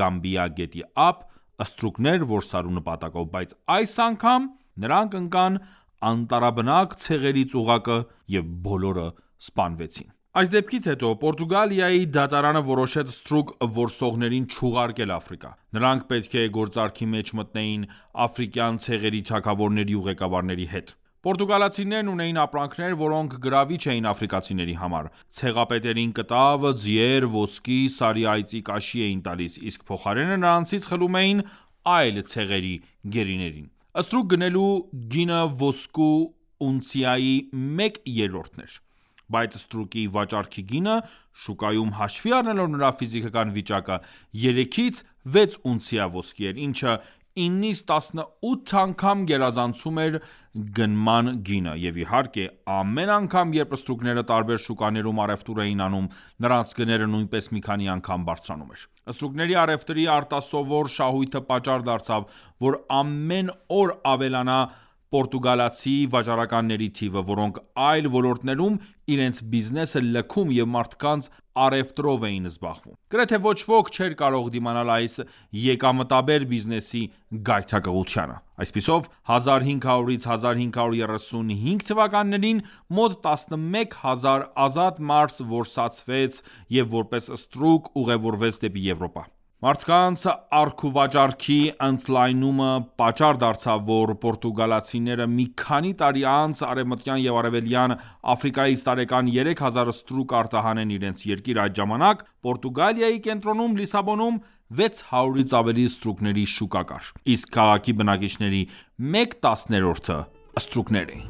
Գամբիա գետի ափ, ստրուկներ որսալու նպատակով, բայց այս անգամ նրանք ընկան անտառաբնակ ցեղերի ծուղակը և բոլորը սպանվեցին։ Այս դեպքից հետո Պորտուգալիայի դատարանը որոշեց ստրուկ որսողներին չուղարկել Աֆրիկա։ Նրանք պետք է գործարքի մեջ մտնեին աֆրիկյան ցեղերի թագավորների ու ղեկավարների հետ։ Պառտուգալացիներն ունեին ապրանքներ, որոնք գրավիչ էին աֆրիկացիների համար: Ցեղապետերին կտավ, ձիեր, ոսկի, սարի այծի կաշի էին տալիս, իսկ փոխարենը նրանցից խլում էին այլ ցեղերի գերիներին։ Ստրուկ գնելու գինը ոսկու ունցիայի մեկ երրորդն էր, բայց ստրուկի վաճառքի գինը շուկայում հաշվի առնելով նրա ֆիզիկական վիճակը, 3-ից 6 ունցիա ոսկի էր, ինչը 9-ից 18 անգամ գերազանցում էր գնման գինը։ Եվ իհարկե, ամեն անգամ, երբ ստրուկները տարբեր շուկաներում առևտուր էին անում, նրանց գները նույնպես մի քանի անգամ բարձրանում էր։ Ստրուկների առևտրի արտասովոր շահույթը պատճառ դարձավ, որ ամեն օր ավելանա պորտուգալացի վաճառականների թիվը, որոնք այլ ոլորտներում իրենց բիզնեսը լքում և մարդկանց առևտրով էին զբաղվում: Գրեթե ոչ ոք չէր կարող դիմանալ այս եկամտաբեր բիզնեսի գայթակղությանը: Այսպիսով 1500-ից 1535 թվականներին մոտ 11 հազար ազատ մարդ որսացվեց և որպես ստրուկ ուղևորվեց դեպի Եվրոպա։ Մարդանց առքուվաճառքի ընդլայնումը պատճառ դարձավ, որ պորտուգալացիները մի քանի տարի անց Արևմտյան և Արևելյան Աֆրիկայից տարեկան 3000 ստրուկ արտահանեն իրենց երկիր: Այդ ժամանակ Պորտուգալիայի կենտրոնում՝ Լիսաբոնում, 600-ից ավելի ստրուկների շուկա կար, իսկ քաղաքի բնակիչների մեկ տասներորդը ստրուկներ էին։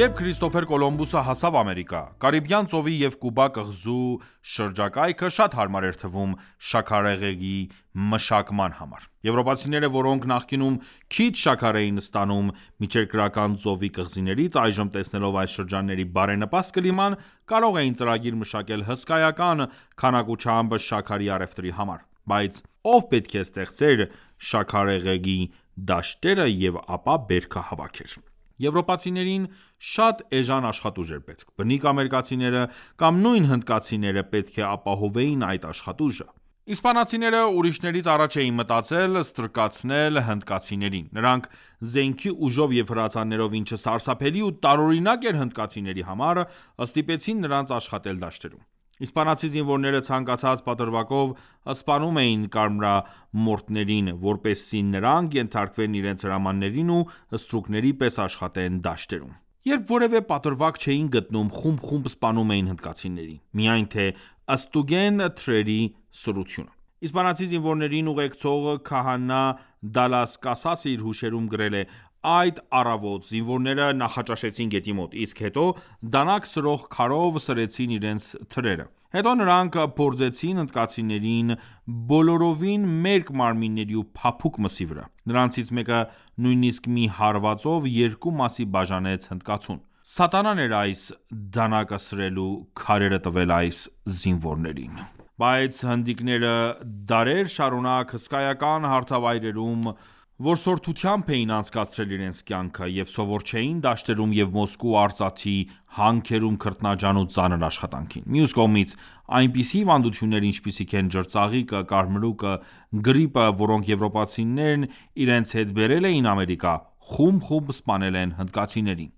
Երբ Քրիստոֆեր Կոլումբոսը հասավ Ամերիկա, Կարիբյան ծովի և Կուբա կղզու շրջակայքը շատ հարմար էր թվում շաքարեղեգի մշակման համար: Եվրոպացիները, որոնք նախկինում քիչ շաքար էին ստանում Միջերկրական ծովի կղզիներից, այժմ տեսնելով այս շրջանների բարենպաստ կլիման, կարող էին ծրագիր մշակել հսկայական քանակությամբ շաքարի առևտրի համար: Բայց ո՞վ պետք է ստեղծեր շաքարեղեգի դաշտերը և ապա բերքը հավաքեր։ Եվրոպացիներին շատ էժան աշխատուժ էր պետք։ Բնիկ ամերիկացիները կամ նույն հնդկացիները պետք է ապահովեին այդ աշխատուժը: Իսպանացիները ուրիշներից առաջ էին մտածել ստրկացնել հնդկացիներին։ Նրանք զենքի ուժով և հրացաններով, ինչը սարսափելի ու տարօրինակ էր հնդկացիների համար, ստիպեցին նրանց աշխատել դաշտերում։ Իսպանացի զինվորները ցանկացած պատրվակով սպանում էին կարմրամրամորթներին, որպեսզի նրանք ենթարկվեն իրենց հրամաններին և ստրուկների պես աշխատեն դաշտերում։ Երբ որևէ պատրվակ չէին գտնում, խումբ-խումբ սպանում էին հնդկացիներին, միայն թե ստուգեն թրերի սրությունը։ Իսպանացի զինվորներին ուղեկցող քահանա Դալլաս Կասասը իր հուշերում գրել է. «Այդ առավոտ զինվորները նախաճաշեցին գետի մոտ, իսկ հետո դանակ սրող քարով սրեցին իրենց թրերը։ Հետո դրանք փորձեցին հնդկացիների բոլորովին մերկ մարմինների ու փափուկ մսի վրա, նրանցից մեկը նույնիսկ մի հարվածով երկու մասի բաժանեց հնդկացուն։ Սատանան էր այս դանակը սրելու քարերը տվել այս զինվորներին»։ Բայց հնդիկները դարեր շարունակ հսկայական հարթավայրերում որսորդությամբ էին անցկացրել իրենց կյանքը, և սովոր չէին դաշտերում և ոսկու ու արծաթի հանքերում քրտնաջան ու ծանր աշխատանքին: Մյուս կողմից, այնպիսի հիվանդություններ, ինչպիսիք են ջրծաղիկը, կարմրուկը, գրիպը, որոնք եվրոպացիներն իրենց հետ բերել էին Ամերիկա, խումբ-խումբ սպանել են հնդկացիներին։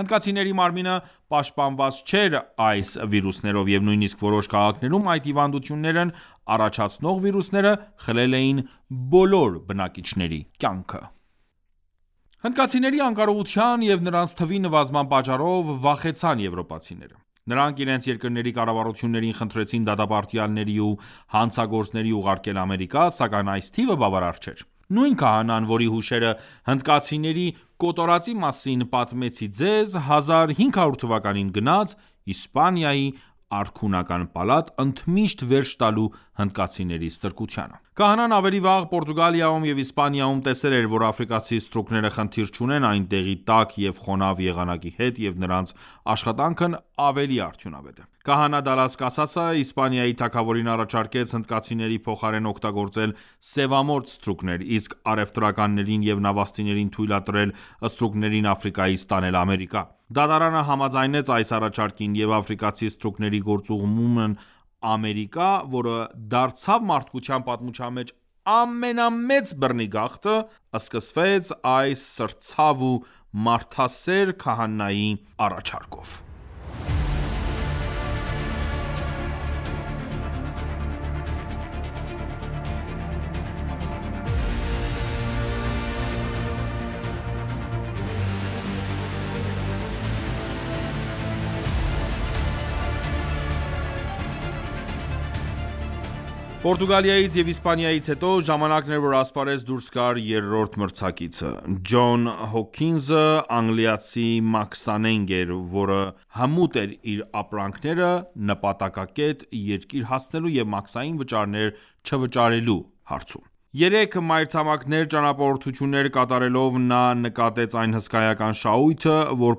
Հնդկացիների մարմինը պաշտպանված չէր այս վիրուսներից, և նույնիսկ որոշ քաղաքներում այդ հիվանդություններն առաջացնող վիրուսները խլել էին բոլոր բնակիչների կյանքը։ Հնդկացիների անկարողության և նրանց թվի նվազման պատճառով վախեցան եվրոպացիները։ Նրանք իրենց երկրների կառավարություններին խնդրեցին դատապարտյալների ու հանցագործների ուղարկել Ամերիկա, սակայն այս թիվը բավարար չէր։ Նույն քահանան, որի հուշերը հնդկացիների կոտորածի մասին պատմեցի ձեզ, 1500 թվականին գնաց Իսպանիայի արքունական պալատ, ընդմիշտ վերջ տալու հնդկացիների ստրկությանը։ Քահանան ավելի վաղ Պորտուգալիայում և Իսպանիայում տեսել էր, որ աֆրիկացի ստրուկները խնդիր չունեն այնտեղի տաք և խոնավ եղանակի հետ, և նրանց աշխատանքն ավելի արդյունավետ է։ Քահանա Դալլաս Կասասը Իսպանիայի թագավորին առաջարկեց հնդկացիների փոխարեն օգտագործել սևամորթ ստրուկներ, իսկ առևտրականներին և նավաստիներին թույլատրել ստրուկներին Աֆրիկայից տանել Ամերիկա։ Դատարանը համաձայնեց այս առաջարկին, և աֆրիկացի ստրուկների գործուղումն Ամերիկա, որը դարձավ մարդկության պատմության մեջ ամենամեծ բռնի գաղթը, սկսվեց այս սրտցավ ու մարդասեր քահանայի առաջարկով։ Պորտուգալիայից և Իսպանիայից հետո, ժամանակն էր, որ ասպարեզ դուրս գար երրորդ մրցակիցը։ Ջոն Հոքինսը անգլիացի մաքսանենգ էր, որը հմուտ էր իր ապրանքները նպատակակետ երկիր հասցնելու և մաքսային վճարներ չվճարելու հարցում: Երեք մայրցամաքներ ճանապարհորդություններ կատարելով նա նկատեց այն հսկայական շահույթը, որ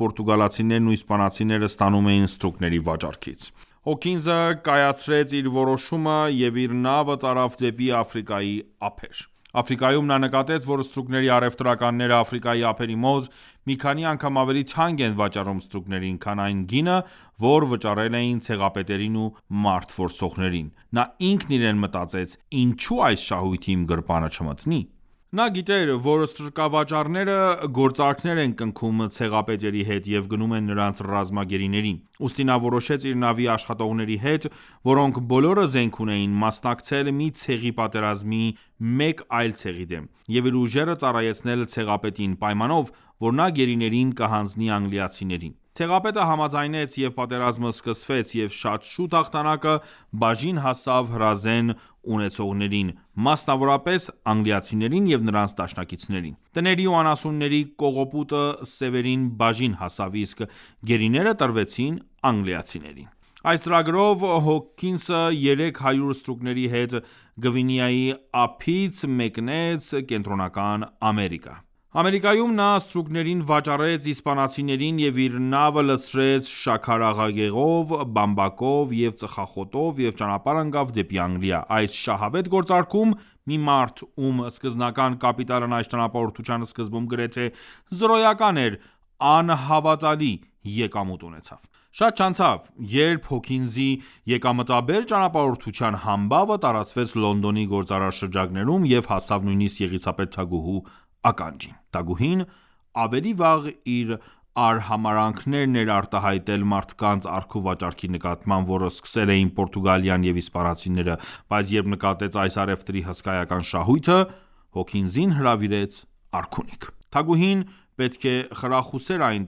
պորտուգալացիներն ու իսպանացիները ստանում էին ստրուկների վաճառքից։ Հոքինսը կայացրեց իր որոշումը և իր նավը տարավ դեպի Աֆրիկայի ափեր։ Աֆրիկայում նա նկատեց, որ ստրուկների առևտրականները Աֆրիկայի ափերի մոտ մի քանի անգամ ավելի թանկ են վաճառում ստրուկներին, քան այն գինը, որ վճարել էին ցեղապետերին ու մարդ որսողներին։ Նա ինքն իրեն մտածեց. Ինչու՞ այս շահույթը իմ գրպանը չմտնի: Նա գիտեր, որ ստրկավաճառները գործարքներ են կնքում ցեղապետերի հետ և գնում են նրանց ռազմագերիներին։ Ուստի նա որոշեց իր նավի աշխատողների հետ, որոնք բոլորը զենք ունեին, մասնակցել մի ցեղի պատերազմին մեկ այլ ցեղի դեմ, և իր ուժերը ծառայեցնել ցեղապետին, պայմանով, որ նա գերիներին կհանձնի անգլիացիներին։ Ցեղապետը համաձայնեց և պատերազմը սկսվեց, և շատ շուտ հաղթանակը բաժին հասավ հրազեն ունեցողներին, մասնավորապես անգլիացիներին և նրանց դաշնակիցներին: Տների ու անասունների կողոպուտը սեւերին բաժին հասավ, իսկ գերիները տրվեցին անգլիացիներին։ Այս ծրագրով Հոքինսը 300 ստրուկների հետ Գվինեայի ափից մեկնեց Կենտրոնական Ամերիկա։ Ամերիկայում նա ստրուկներին վաճառեց իսպանացիներին և իր նավը լցրեց շաքարեղեգով, բամբակով և ծխախոտով և ճանապարհ ընկավ դեպի Անգլիա: Այս շահավետ գործարքում մի մարդ, ում սկզբնական կապիտալն այս ճանապարհորդության սկզբում գրեթե զրոյական էր, անհավատալի եկամուտ ունեցավ։ Շատ չանցավ, երբ Հոքինսի եկամտաբեր ճանապարհորդության համբավը տարածվեց Լոնդոնի գործարար շրջանակներում և հասավ նույնիսկ Եղիսաբեթ թագուհու ականջին: Թագուհին ավելի վաղ իր արհամարհանքն էր արտահայտել մարդկանց առքուվաճառքի նկատմամբ, որը սկսել էին Պորտուգալիան և իսպանացիները, բայց երբ նկատեց այս առևտրի հսկայական շահույթը, Հոքինսին հրավիրեց արքունիք։ Թագուհին պետք է խրախուսեր այն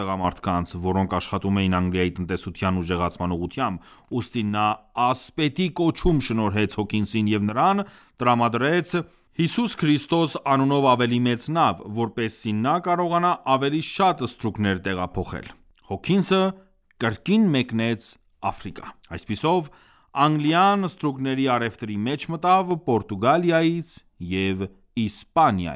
տղամարդկանց ,որոնք աշխատում էին Անգլիայի տնտեսության ուժեղացման ուղղությամբ, ուստի նա ասպետի կոչում շնորհեց Հոքինսին և նրան տրամադրեց «Հիսուս Քրիստոս» անունով ավելի մեծ նավ, որպեսզի նա կարողանա ավելի շատ ստրուկներ տեղափոխել։ Հոքինսը կրկին մեկնեց Աֆրիկա: Այսպիսով Անգլիան ստրուկների առևտրի մեջ մտավ Պորտուգալիայից և Իսպանիա